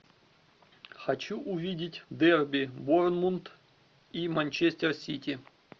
хочу увидеть дерби борнмут и манчестер сити